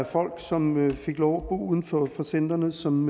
er folk som fik lov uden for centrene som